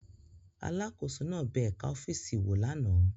Alákòóso náà bẹ ẹ̀ka ọ́fíìsì wò lánàá